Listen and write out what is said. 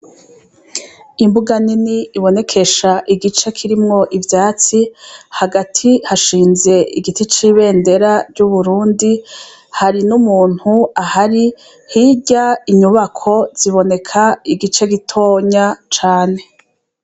Imbuga nini ibonekesha igice kirimwo ivyatsi, hagati hashinze igiti c' ibendera ry' Uburundi, hari n' umuntu ahari, hirya inyubako ziboneka igice gitonya cane.